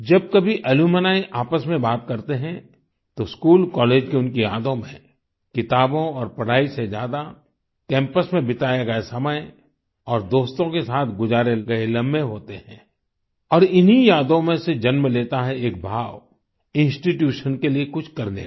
जब कभी अलुम्नी आपस में बात करते हैं तो स्कूल कॉलेज की उनकी यादों में किताबों और पढाई से ज्यादा कैम्पस में बिताया गया समय और दोस्तों के साथ गुजारे गए लम्हें होते हैं और इन्हीं यादों में से जन्म लेता है एक भाव इंस्टीट्यूशन के लिए कुछ करने का